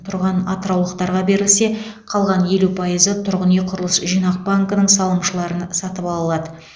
тұрған атыраулықтарға берілсе қалған елу пайызы тұрғын үй құрылыс жинақ банкінің салымшыларын сатып ала алады